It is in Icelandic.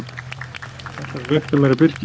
Ætlar að rækta meira birki